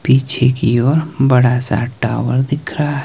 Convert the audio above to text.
पीछे की ओर बड़ा सा टावर दिख रहा है।